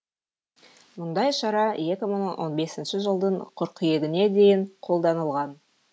мұндай шара екі мың он бесінші жылдың қыркүйегіне дейін қолданылған